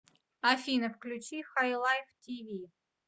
афина включи хайлайв ти ви